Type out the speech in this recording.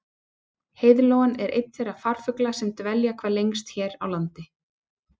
Heiðlóan er einn þeirra farfugla sem dvelja hvað lengst hér á landi.